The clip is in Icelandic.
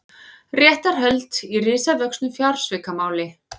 Réttarhöld í risavöxnu fjársvikamáli